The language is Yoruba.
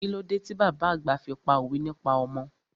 Kílódé ti bàbá àgbà fi pá òwe nípa ọmọ?